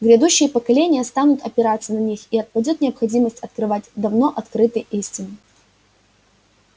грядущие поколения станут опираться на них и отпадёт необходимость открывать давно открытые истины